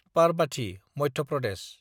Parbati (Madhya Pradesh)